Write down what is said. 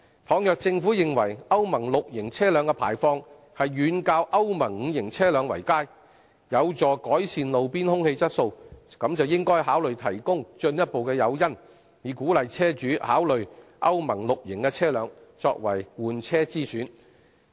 倘若政府認為歐盟 VI 期車輛的排放遠較歐盟 V 期車輛為佳，有助改善路邊空氣質素，便應該考慮提供進一步的誘因，以鼓勵車主考慮以歐盟 VI 期車輛作為換車之選。